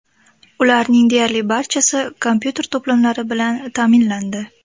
Ularing deyarli barchasi kompyuter to‘plamlari bilan ta’minlandi.